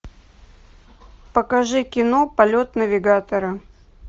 покажи кино полет навигатора